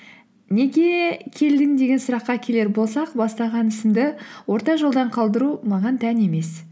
неге келдің деген сұраққа келер болсақ бастаған ісімді орта жолдан қалдыру маған тән емес